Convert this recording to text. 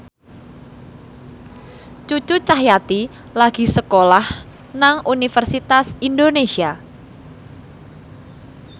Cucu Cahyati lagi sekolah nang Universitas Indonesia